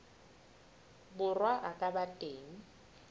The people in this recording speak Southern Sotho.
borwa a ka ba teng